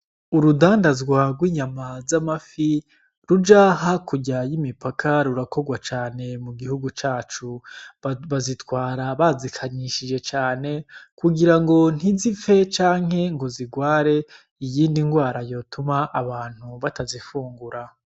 Urudanda zwarwe inyama z'amafi ruja hakuryaye imipaka rurakorwa cane mu gihugu cacu bazitwara bazikanyishije cane kugira ngo ntizipfe canke ngo zigware iyindi ngwara yotuma abantu batazifungura.